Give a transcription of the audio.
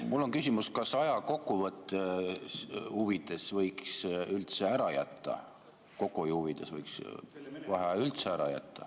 Mul on küsimus, kas aja kokkuhoiu huvides võiks vaheaja üldse ära jätta.